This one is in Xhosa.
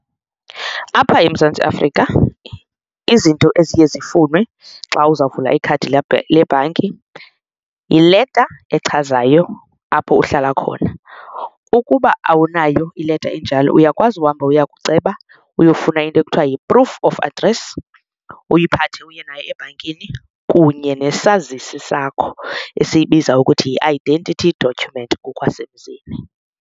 Apha eMzantsi Afrika izinto eziye zifunwe xa uzawuvula ikhadi lebhanki yileta echazayo apho uhlala khona, ukuba awunayo ileta enjalo uyakwazi uhamba uya kuceba uyofuna into ekuthiwa yi-proof of address uyiphathe uye nayo ebhankini kunye nesazisi sakho esiyibiza ukuthi yi-identity document ngokwasemzini.